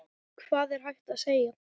Hvað er hægt að segja?